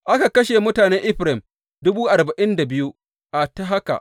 Aka kashe mutanen Efraim dubu arba’in da biyu a ta haka.